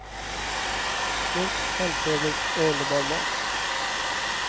Snyggt, hemtrevligt och underbar mat.